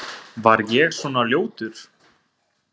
Var ég svona ljótur?